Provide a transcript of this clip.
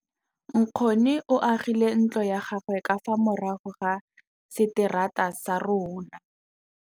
Nkgonne o agile ntlo ya gagwe ka fa morago ga seterata sa rona.